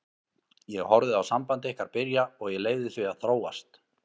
Ég horfði á samband ykkar byrja og ég leyfði því að þróast.